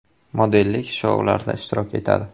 Modellik shoularida ishtirok etadi.